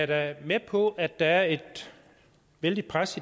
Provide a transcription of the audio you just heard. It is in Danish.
da med på at der er et vældigt pres